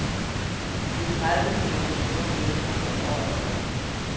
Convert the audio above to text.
Det er tredive millioner kroner mindre end året før.